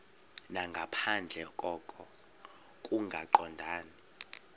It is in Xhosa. nangaphandle koko kungaqondani